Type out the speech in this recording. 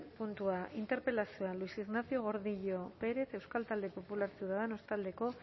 puntua interpelazioa luis ignacio gordillo pérez euskal talde popularra ciudadanos taldeko